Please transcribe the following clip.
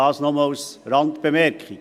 Dies nur als Randbemerkung.